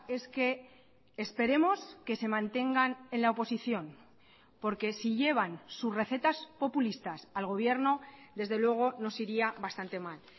es que esperemos que se mantengan en la oposición porque si llevan sus recetas populistas al gobierno desde luego nos iría bastante mal